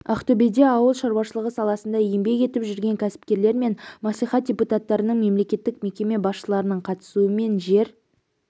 ақтөбеде ауыл шаруашылығы саласында еңбек етіп жүрген кәсіпкерлер мен мәслихат депутаттарының мемлекеттік мекеме басшыларының қатысуымен жер